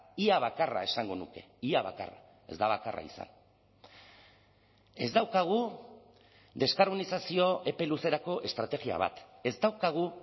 ia bakarra esango nuke ia bakarra ez da bakarra izan ez daukagu deskarbonizazio epe luzerako estrategia bat ez daukagu